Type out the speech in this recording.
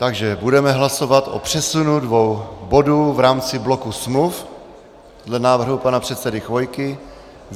Takže budeme hlasovat o přesunu dvou bodů v rámci bloku smluv dle návrhu pana předsedy Chvojky.